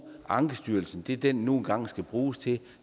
ankestyrelsen til det den nu engang skal bruges til